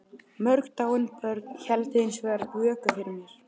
Mörg dáin börn héldu hins vegar vöku fyrir mér.